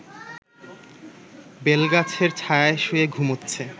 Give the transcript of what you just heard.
বেলগাছের ছায়ায় শুয়ে ঘুমোচ্ছে